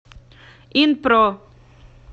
инпро